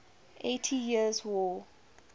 eighty years war